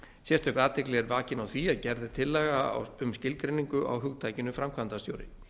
sérstök athygli er vakin á því að gerð er tillaga um skilgreiningu á hugtakinu framkvæmdastjóri